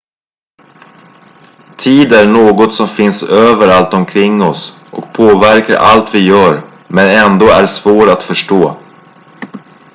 tid är något som finns överallt omkring oss och påverkar allt vi gör men ändå är svår att förstå